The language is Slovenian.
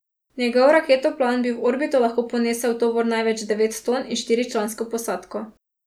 Njegov raketoplan bi v orbito lahko ponesel tovor največ devet ton in štiričlansko posadko.